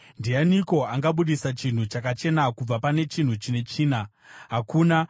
Ndianiko angabudisa chinhu chakachena kubva pane chine tsvina? Hakuna!